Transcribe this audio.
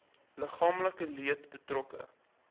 liggaamlike leed betrokke